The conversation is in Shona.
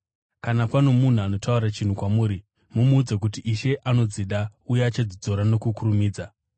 Kana pano munhu anotaura chinhu kwamuri, mumuudze kuti, Ishe anodzida uye achadzidzosa nokukurumidza.”